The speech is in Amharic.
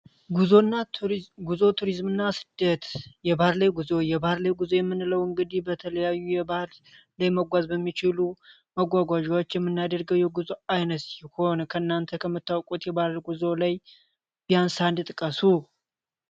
ጉዞና ቱሪዝም ጉዞ ቱሪዝምና ስደት የባር ላይ ጉዞ የባህር ላይ ጉዞ የምንለው እንግዲህ፤ በተለያዩ የባህል ለመጓዝ በሚችሉ መጓጓዣዎች የምናደርገው የጉዞ አይነት ከእናንተ ከምታውቁት ላይ ቢያንስ አንድ ጥቃቱ።